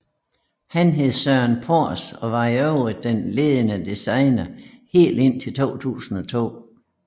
Han hed Søren Pors og var i øvrigt den ledende designer helt indtil 2002